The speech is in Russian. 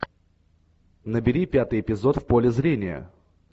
набери пятый эпизод в поле зрения